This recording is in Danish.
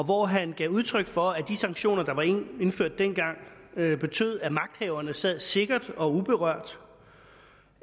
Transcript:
hvor han gav udtryk for at de sanktioner der var indført dengang betød at magthaverne sad sikkert og uberørt og